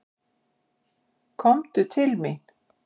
Komdu til mín.